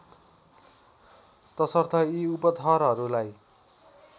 तसर्थ यी उपथरहरूलाई